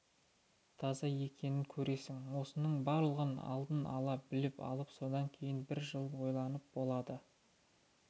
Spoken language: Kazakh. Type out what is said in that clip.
таза екенін көресің осының барлығын алдын ала біліп алып содан кейін бір жыл ойланып болады